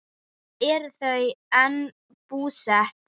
Þar eru þau enn búsett.